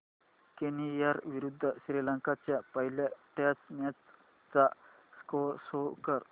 Kenya विरुद्ध श्रीलंका च्या पहिल्या टेस्ट मॅच चा स्कोअर शो कर